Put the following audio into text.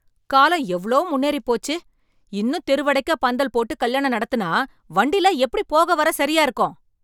காலம் எவ்ளோ முன்னேறி போச்சு, இன்னும் தெருவடைக்க பந்தல் போட்டு கல்யாணம் நடத்தினா, வண்டிலாம் எப்படி போக வர சரியா இருக்கும்.